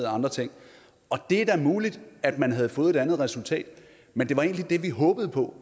andre ting det er da muligt at man havde fået et andet resultat men det vi håbede på